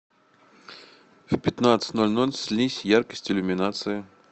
в пятнадцать ноль ноль снизь яркость иллюминации